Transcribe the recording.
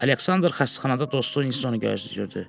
Aleksandr xəstəxanada dostu Uinstonu gözləyirdi.